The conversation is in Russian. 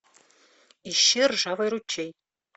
ищи ржавый ручей